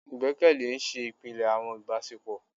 Igbẹkẹle n ṣe ipilẹ awọn ibasepo